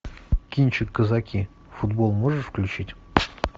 кинчик казаки футбол можешь включить